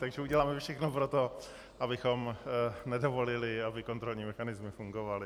Takže uděláme všechno pro to, abychom nedovolili, aby kontrolní mechanismy fungovaly.